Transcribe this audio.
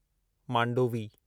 Mandovi